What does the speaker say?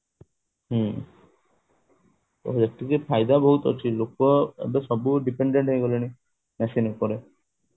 ହୁଁ ତ ଏଥିରେ ଫାଇଦା ବହୁତ ଅଛି ଲୋକ ସବୁ dependent ହେଇଗଲେଣି machine ଉପରେ